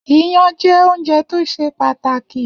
Iyán jẹ́ oúnjẹ tó ṣe pàtàkì